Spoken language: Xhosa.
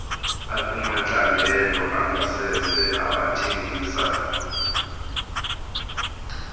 akumacandelo angasese abathengisa